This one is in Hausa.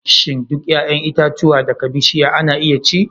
Shin duk 'ya'yan itatuwa daga bishiya ana iya ci?